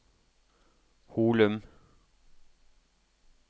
Holum